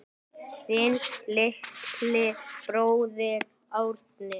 Þinn litli bróðir, Árni.